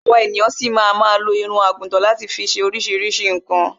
Àwa ènìyan ṣi ma ma lo irun àgùtan láti fi ṣe oríṣiríṣi nǹkan